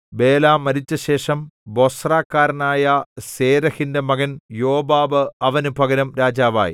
ബേല മരിച്ചശേഷം ബൊസ്രക്കാരനായ സേരെഹിന്റെ മകൻ യോബാബ് അവന് പകരം രാജാവായി